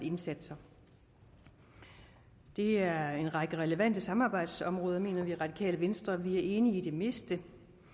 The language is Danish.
indsatser det er en række relevante samarbejdsområder mener vi i radikale venstre og vi er enige i det meste